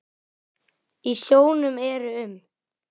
Í sjónum eru um